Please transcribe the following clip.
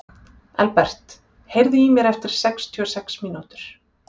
Elbert, heyrðu í mér eftir sextíu og sex mínútur.